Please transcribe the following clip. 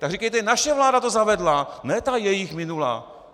Tak říkejte naše vláda to zavedla, ne ta jejich minulá.